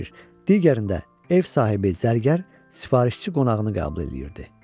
Digərində ev sahibi zərgər, sifarişçi qonağını qəbul eləyirdi.